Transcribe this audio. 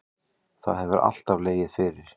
Það hefur alltaf legið fyrir